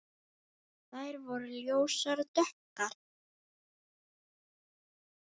Þær voru ljósar og dökkar.